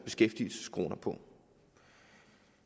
beskæftigelseskronerne på